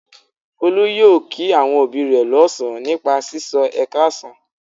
Folú yóò kí àwọn òbí rẹ̀ lọ́sàn-án nípa sísọ "ẹ káàsán".